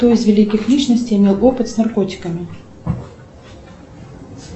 кто из великих личностей имел опыт с наркотиками